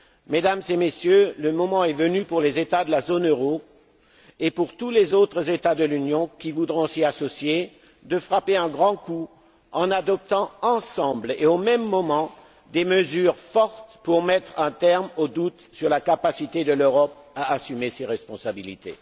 Mesdames et Messieurs, le moment est venu, pour les États de la zone euro et pour tous les autres États de l'Union qui voudront s'y associer, de frapper un grand coup en adoptant, ensemble et au même moment, des mesures fortes pour mettre un terme aux doutes sur la capacité de l'Europe à assumer ses responsabilités.